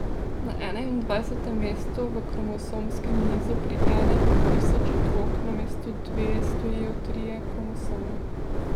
Na enaindvajsetem mestu v kromosomskem nizu pri enem od tisoč otrok namesto dveh stojijo trije kromosomi.